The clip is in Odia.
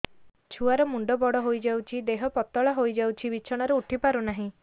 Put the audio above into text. ଛୁଆ ର ମୁଣ୍ଡ ବଡ ହୋଇଯାଉଛି ଦେହ ପତଳା ହୋଇଯାଉଛି ବିଛଣାରୁ ଉଠି ପାରୁନାହିଁ